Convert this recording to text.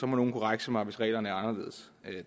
nogen korrekse mig hvis reglerne er anderledes